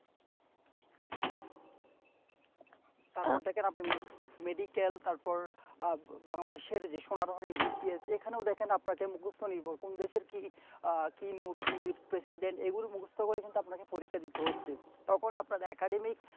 তারপর দেখেন আপু medical তারপর আহ Bangladesh এর যে সোনারঅহনি আছে এখানেও দেখেন আপনাকে মুখস্ত নির্ভর কুন দেশের কি আহ কি nub কি president এই গুলো মুকস্ত করে কিন্তু আপনাকে পরীক্ষা দিতে হচ্ছে তখন আপনার academy